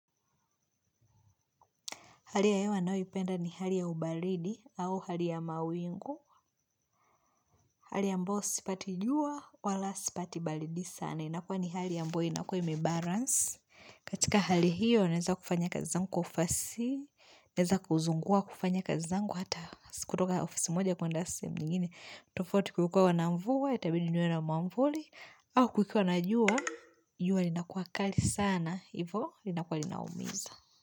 Hali ya hewa ninayoipenda ni hali ya ubaridi au hali ya mawingu. Hali ambayo sipati jua wala sipati balidi sana. Inakua ni hali ambyo inakua ime balance. Katika hali hiyo, naeza kufanya kazi zangu ufasihi. Naeza kuzungua kufanya kazi zangu hata sikutoka ofisi moja kwenda sehemu nyingine tofauti kukikua na mvua, itabidi niwe na mwamvuli. Au kukiwa na jua, jua linakua kali sana. Hivo, linakuwa linaumiza.